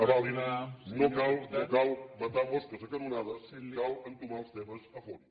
avalin no cal matar mosques a canonades cal entomar els temes a fons